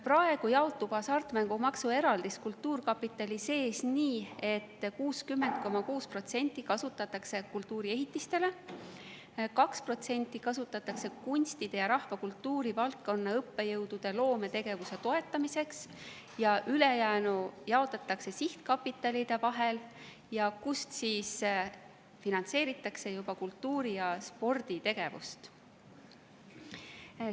Praegu jaotub hasartmängumaksu eraldis kultuurkapitali sees nii, et 60,6% kasutatakse kultuuriehitiste jaoks, 2% kasutatakse kunstide ja rahvakultuuri valdkonna õppejõudude loometegevuse toetamiseks ning ülejäänu jaotatakse sihtkapitalide vahel, kust finantseeritakse kultuuri‑ ja sporditegevust.